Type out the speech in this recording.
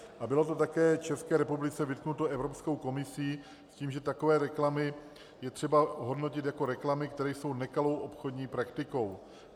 A bylo to také České republice vytknuto Evropskou komisí s tím, že takové reklamy je třeba hodnotit jako reklamy, které jsou nekalou obchodní praktikou.